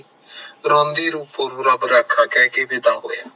ਰਾਮਦੀ ਰੂਪੋ ਨੂੰ ਰੱਬ ਰਾਖਾ ਕਹਿ ਕੇ ਵਿਧਾ ਹੋਇਆ